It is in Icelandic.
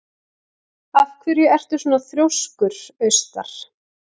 Af hverju ertu svona þrjóskur, Austar?